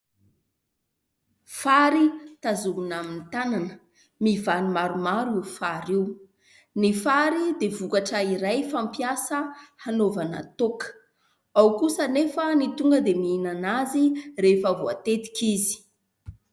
Fary tazomina amin'ny tanana, mivano maromaro io fary io. Ny fary dia vokatra iray fampiasa hanaovana toaka. Ao kosa anefa ny tonga dia mihinana azy rehefa voatetika izy.